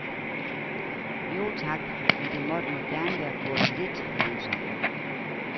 Jo tak, men det måtte nu gerne være gået lidt langsommere.